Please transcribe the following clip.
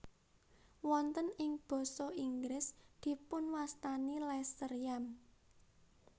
Wonten ing basa Inggris dipunwastani lesser yam